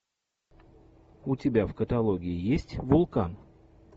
у тебя в каталоге есть вулкан